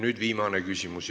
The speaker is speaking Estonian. Nüüd viimane küsimus.